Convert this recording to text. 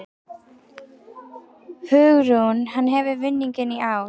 Hugrún: Hann hefur vinninginn í ár?